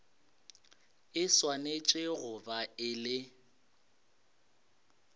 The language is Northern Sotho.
e swanetše go ba e